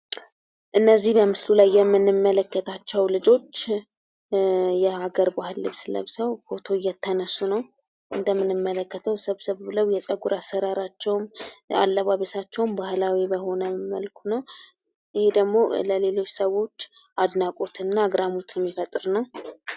እነዚህ በምስሉ ላይ የምንመለክታቸው ልጆች የሀገር ባህል ልብስ ለብሰው ፎቶ እየተነሱ ነው። እንደምንመለክተው ሰብሰብ ብለው የጸጉር አሰራራችውም አለባበሳቸውም ባህላዊ በሆነ መልኩ ነው። ይህ ደግሞ ለሌሎች ሰዎች አድናቆትና አግራሞት የሚፈጥር ነው።